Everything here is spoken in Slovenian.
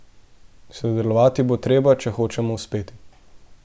Sodelovati bo treba, če hočemo uspeti.